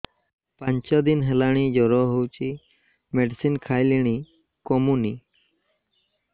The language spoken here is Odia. ପାଞ୍ଚ ଦିନ ହେଲାଣି ଜର ହଉଚି ମେଡିସିନ ଖାଇଲିଣି କମୁନି